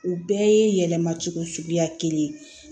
U bɛɛ ye yɛlɛmacogo suguya kelen ye